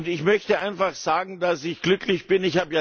Ich möchte einfach sagen, dass ich glücklich bin.